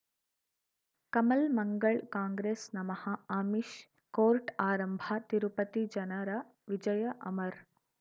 ಕಮಲ್ ಮಂಗಳ್ ಕಾಂಗ್ರೆಸ್ ನಮಃ ಅಮಿಷ್ ಕೋರ್ಟ್ ಆರಂಭ ತಿರುಪತಿ ಜನರ ವಿಜಯ ಅಮರ್